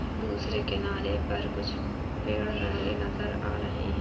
दूसरे किनारे पर कुछ पेड़ नजर आ रहे है|